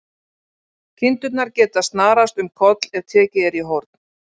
Kindurnar geta snarast um koll ef tekið er í horn.